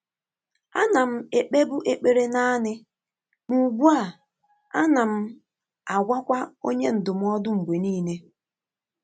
Á nà m ékpébu ékpèré nāànị́, mà ùgbú à, ànà m àgwàkwà ọ́nyé ndụ́mọ́dụ́ mgbè níílé.